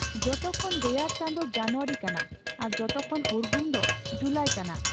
ᱡᱚᱛᱚᱠᱷᱚᱱ ᱨᱮᱭᱟᱲ ᱪᱟᱸᱫᱳ ᱡᱟᱱᱩᱣᱟᱨᱤ ᱠᱟᱱᱟ, ᱟᱨ ᱡᱚᱛᱚᱠᱷᱚᱱ ᱩᱨᱜᱩᱢ ᱫᱚ ᱡᱩᱞᱟᱭ ᱠᱟᱱᱟ ᱾